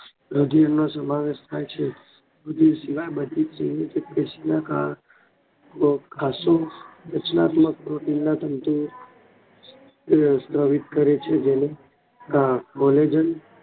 રૂધિર નો સમાવેશ થાય છે રૂઘીર શિવાય બધીજ સંયોજક પેશીઓના કારણે ખાસ્સું રચનાત્મક પ્રોટીન ના તંતુ તે સ્રવિત કરે છે જેને